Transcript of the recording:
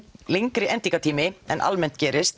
lengri endingartími en almenn gerist